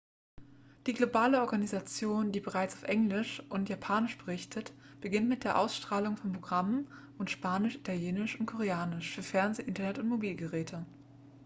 die globale organisation die bereits auf englisch und japanisch berichtet beginnt mit der ausstrahlung von programmen auf spanisch italienisch und koreanisch für fernsehen internet und mobilgeräte